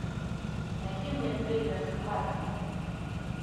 найди мне триллер схватка